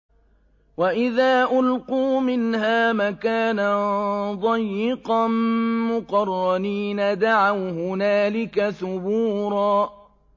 وَإِذَا أُلْقُوا مِنْهَا مَكَانًا ضَيِّقًا مُّقَرَّنِينَ دَعَوْا هُنَالِكَ ثُبُورًا